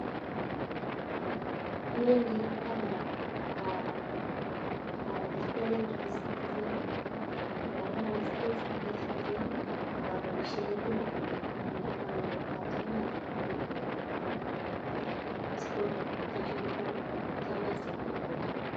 Awendi aka registani en e-citizen, abaishen ID nenyunet ko verified. Anyit form ap passport application, atiem a submit.